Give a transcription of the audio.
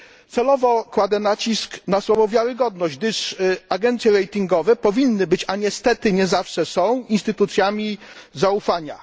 Celowo kładę nacisk na słowo wiarygodność, gdyż agencje ratingowe powinny być a niestety nie zawsze są instytucjami zaufania.